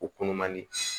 O kunnu man di